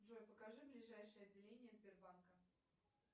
джой покажи ближайшее отделение сбербанка